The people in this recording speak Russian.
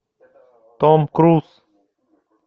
том круз